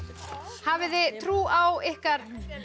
hafið þið trú á ykkar